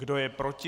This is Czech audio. Kdo je proti?